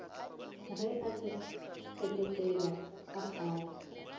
ge a thekesela a phaya